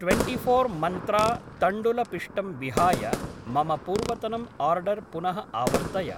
Twenty-four Mantra तण्डुलपिष्टम् विहाय मम पूर्वतनम् आर्डर् पुनः आवर्तय।